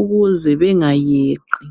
ukuze bengayeqi.